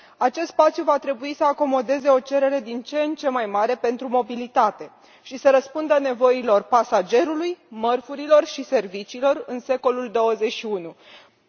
Acest spațiu va trebui să acomodeze o cerere din ce în ce mai mare pentru mobilitate și să răspundă nevoilor pasagerilor, mărfurilor și serviciilor în secolul al XXI lea.